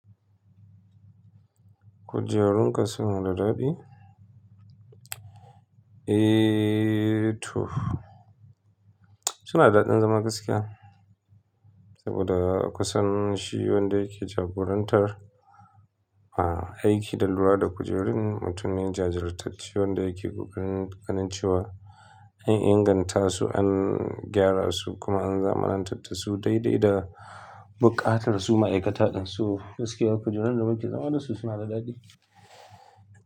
Kujerun ka suna da daɗi? Eee to, suna da daɗin zama gaskiya. Saboda kusan shi wanda yake jagorantar a aiki da lura da kujerun mutum ne jajirtacce wanda yake ƙoƙarin ganin cewa, an inganta su, an gyara su kuma an zamanantar su daidai da buƙatar su ma'aikata ɗinsu. Gaskiya kujerun da muke zama da su suna da daɗi.